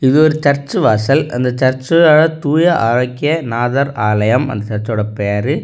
இது ஒரு சர்ச் வாசல் அந்த சர்ச் தூய ஆரோக்கியநாதர் ஆலயம் அப்படின்னு அந்த சர்ச்சோட பேரு.